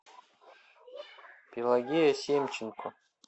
пелагея семченко